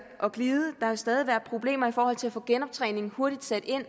glide der vil stadig være problemer i forhold til at få sat genoptræningen hurtigt ind